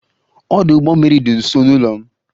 Ọdụ ụgbọ mmiri dị nso n'ụlọ m